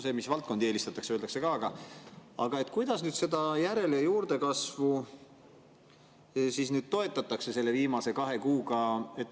Seda, mis valdkondi eelistatakse, öeldakse ka, aga kuidas nüüd seda järel- ja juurdekasvu toetatakse selle viimase kahe kuuga?